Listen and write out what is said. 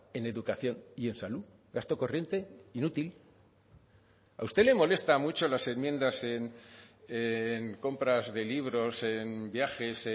en educación y en salud gasto corriente inútil a usted le molesta mucho las enmiendas en compras de libros en viajes